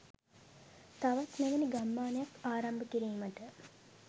තවත් මෙවැනි ගම්මානක් ආරම්භ කිරීමට